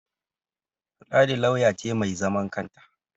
Ladi lauyan ce mai zaman kanta